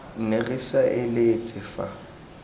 ne re sa eletse fa